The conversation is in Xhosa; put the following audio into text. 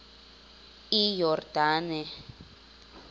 iyordane